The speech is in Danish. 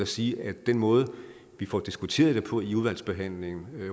sige at den måde vi får diskuteret det på i udvalgsbehandlingen